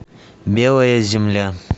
белая земля